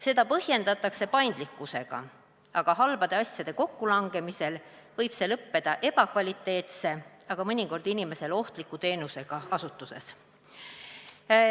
Seda põhjendatakse paindlikkusega, aga halbade asjade kokkulangemisel võib see lõppeda ebakvaliteetse, mõnikord inimesele ohtliku teenuse osutamisega asutuses.